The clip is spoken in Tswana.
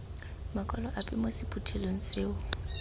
makwalo ape mo sephuthelong seo